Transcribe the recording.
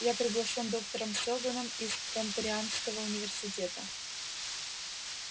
я приглашён доктором сэлдоном из транторианского университета